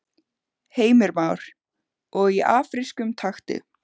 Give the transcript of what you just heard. Heimir Már: Og í afrískum takti?